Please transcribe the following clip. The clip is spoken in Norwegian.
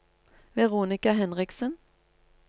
Veronica Henriksen